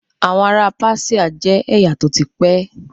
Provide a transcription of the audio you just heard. Àwọn ará Páṣíà jẹ́ ẹ̀yà tó ti pẹ́.